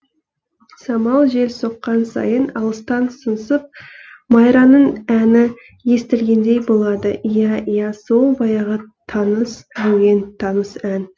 самал жел соққан сайын алыстан сыңсып майраның әні естілгендей болады иә иә сол баяғы таныс әуен таныс ән